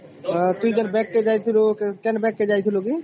ଏ ଟୁଇ ଜୋ bank କେ ଯାଇଥିଲୁ କେଁ bank କେ ଯାଇଥିଲୁ କି ?